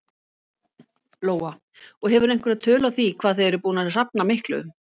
Lóa: Og hefurðu einhverja tölu á því hvað þið eruð að búnir að safna miklu?